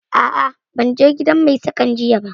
A'a, ban je gidan Mai saƙan jiya ba